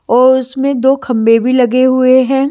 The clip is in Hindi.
और उसमें दो खंभे भी लगे हुए हैं।